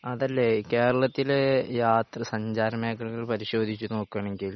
അതല്ലേ കേരളത്തിൽ യാത്ര സഞ്ചാര മേഖലകൾ പരിശോധിച്ചു നോക്കണെങ്കിൽ